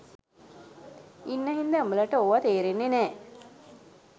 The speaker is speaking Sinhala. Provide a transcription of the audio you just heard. ඉන්න හින්දා උඹලට ඕවා තේරෙන්නේ නෑ